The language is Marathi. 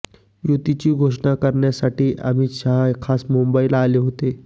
युतीची घोषणा करण्यासाठी अमित शाह खास मुंबईला आले होते